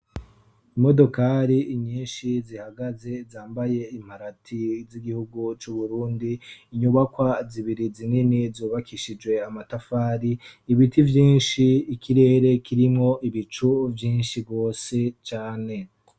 Imodokari nyinshi zihagaze zambaye imparati z'igihugu c'uburundi. Inyubakwa zibiri zinini zubakishijwe amatafari, ibiti vyinshi ikirere kirimwo ibicu vyinshi gose cane.